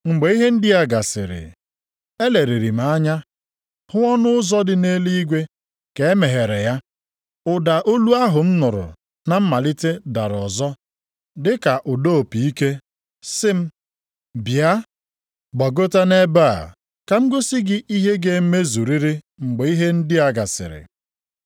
Mgbe ihe ndị a gasịrị, eleliri m anya m hụ ọnụ ụzọ dị nʼeluigwe ka e meghere ya. Ụda olu ahụ m nụrụ na mmalite dara ọzọ, dị ka ụda opi ike sị m, “Bịa, gbagota nʼebe a, ka m gosi gị ihe ga-emezuriri mgbe ihe ndị a gasịrị.”